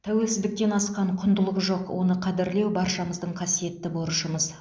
тәуелсіздіктен асқан құндылық жоқ оны қадірлеу баршамыздың қасиетті борышымыз